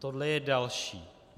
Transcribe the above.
Tohle je další.